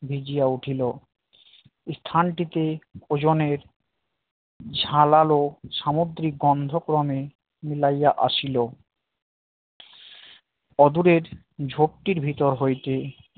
ভিজিয়া উঠিলো স্থানটিতে ওজনের ঝাঁঝালো সামুদ্রিক গন্ধ ক্রমে মিলাইয়া আসিল অদূরের ঝোপটার ভিতর হইতে